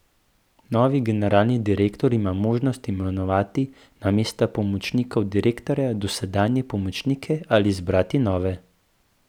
Novi generalni direktor ima možnost imenovati na mesta pomočnikov direktorja dosedanje pomočnike ali izbrati nove.